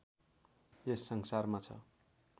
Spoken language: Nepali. यस संसारमा छ